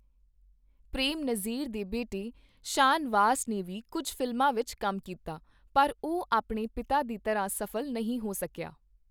ਪ੍ਰੇਮ ਨਜ਼ੀਰ ਦੇ ਬੇਟੇ ਸ਼ਾਨਵਾਸ ਨੇ ਵੀ ਕੁੱਝ ਫ਼ਿਲਮਾਂ ਵਿੱਚ ਕੰਮ ਕੀਤਾ, ਪਰ ਉਹ ਆਪਣੇ ਪਿਤਾ ਦੀ ਤਰ੍ਹਾਂ ਸਫ਼ਲ ਨਹੀਂ ਹੋ ਸਕੀਆ।